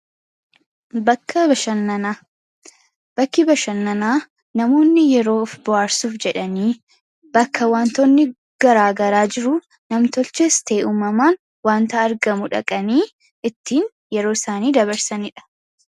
bakki bashannanaa namoonni yeroo f ba'arsuuf jedhanii bakka wantoonni garaagaraa jiru namtolchees tee'uumamaan wantaa argamu dhaqanii ittiin yeroo isaanii dabarsaniidha